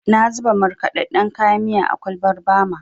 Na zuba markaɗaɗɗen kayan miya a kwalbar Bama.